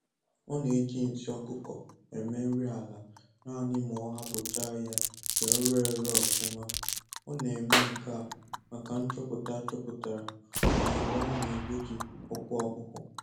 Ọ na-eji nsị ọkụkọ eme nri ala naanị ma ọ hapụcha ya ka ọ re ere ọfụma. Ọ na-eme nke a maka nchọpụta achọpụtara na usoro a na egbochi ọkụ ọhụhụ.